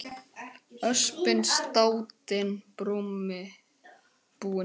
Öspin státin brumi búin.